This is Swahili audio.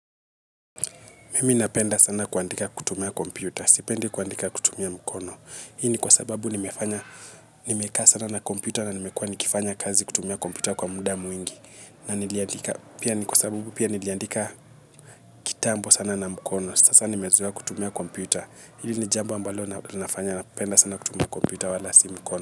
Mimi napenda sana kuandika kutumia kompyuta. Sipende kuandika kutumia mkono. Hi ni kwa sababu nimekaa sana na kompyuta na nimekuwa nikifanya kazi kutumia kompyuta kwa muda mwingi. Na niliandika pia ni kwa sababu pia niliandika kitambo sana na mkono. Sasa nimezoa kutumia kompyuta. Hili ni jambo ambalo linafanya napenda sana kutumia kompyuta wala si mkono.